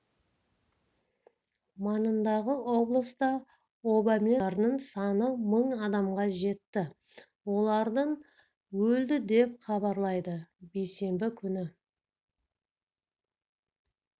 маңындағы облыста обамен ауру адамдардың саны мың адамға жетті олардың өлді деп хабарлады бейсенбі күні